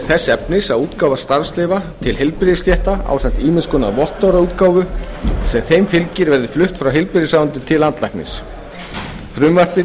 þess efnis að útgáfa starfsleyfa til heilbrigðisstétta ásamt ýmiss konar vottorðaútgáfu sem þeim fylgir verði flutt frá heilbrigðisráðuneytinu til landlæknis frumvarp þetta